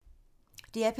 DR P3